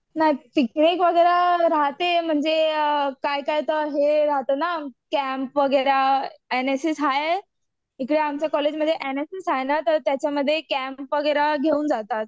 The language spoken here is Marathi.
नाही पिकनिक वगैरा राहते म्हणजे काय काय तर हे राहतं ना, कॅम्प वगैरा एनएसएस हाय तिकडे आमच्या कॉलेजमध्ये एनएसएस हाय ना मग त्याच्यामध्ये कॅम्प वगैरा घेऊन जातात.